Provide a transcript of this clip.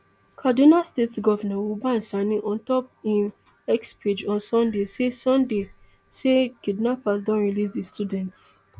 kaduna state govnor uba sanni ontop im x page on sunday say sunday say kidnappers don release di students